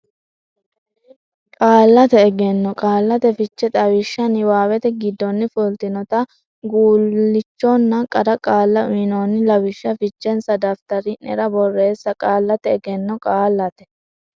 Qaallate Egenno Qaallate Fiche Xawishsha niwaawete giddonni fultinota guulchonna qara qaalla uynoonni lawishshi fichensa daftari nera borreesse Qaallate Egenno Qaallate.